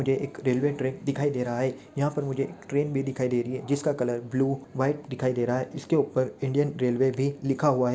But ये एक railway track दिखाई दे रहा हे यहाँ पर मुझे एक ट्रैन भी दिखाई दे रही हे जिसका कलर ब्लू वाइट दिखाई दे रहा हे इसके ऊपर इंडियन रेलवे भी लिखा हुवा हे।